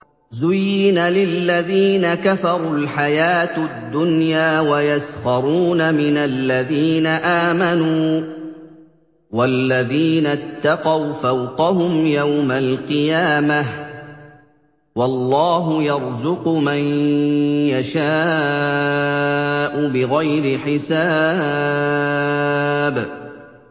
زُيِّنَ لِلَّذِينَ كَفَرُوا الْحَيَاةُ الدُّنْيَا وَيَسْخَرُونَ مِنَ الَّذِينَ آمَنُوا ۘ وَالَّذِينَ اتَّقَوْا فَوْقَهُمْ يَوْمَ الْقِيَامَةِ ۗ وَاللَّهُ يَرْزُقُ مَن يَشَاءُ بِغَيْرِ حِسَابٍ